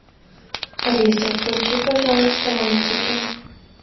алиса включи пожалуйста мультики